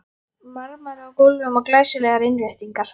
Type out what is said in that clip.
Marmari á gólfum og glæsilegar innréttingar.